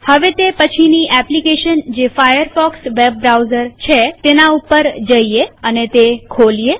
હવે તે પછીની એપ્લીકેશન જે ફાયરફોકસ વેબ બ્રાઉઝર છે તેના પર જઈએતે ખોલીએ